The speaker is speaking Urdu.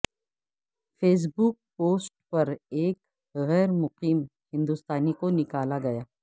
فیس بک پوسٹ پر ایک غیر مقیم ہندوستانی کو نکالاگیا